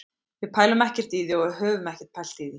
Við pælum ekkert í því og höfum ekkert pælt í því.